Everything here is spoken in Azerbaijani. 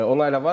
Onu hələ var.